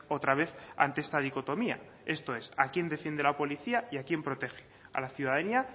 otra vez ante esta dicotomía esto es a quién defiende la policía y quién protege a la ciudadanía